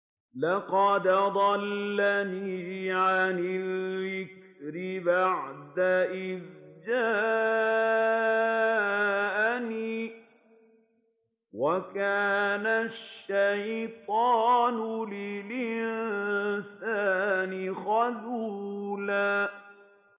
لَّقَدْ أَضَلَّنِي عَنِ الذِّكْرِ بَعْدَ إِذْ جَاءَنِي ۗ وَكَانَ الشَّيْطَانُ لِلْإِنسَانِ خَذُولًا